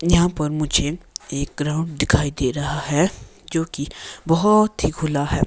यहां पर मुझे एक ग्राउंड दिखाई दे रहा है जो कि बहोत ही खुला है।